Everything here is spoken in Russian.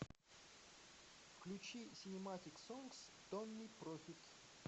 включи синематик сонгс томми профит